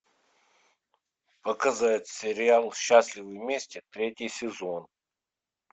показать сериал счастливы вместе третий сезон